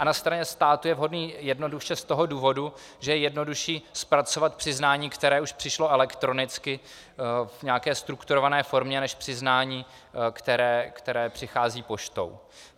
A na straně státu je vhodný jednoduše z toho důvodu, že je jednodušší zpracovat přiznání, které už přišlo elektronicky v nějaké strukturované formě, než přiznání, které přichází poštou.